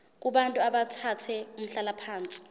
kubantu abathathe umhlalaphansi